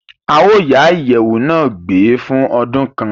À yóò yá iyẹwu na gbé fun ódun kan